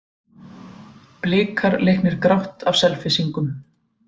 Blikar leiknir grátt af Selfyssingum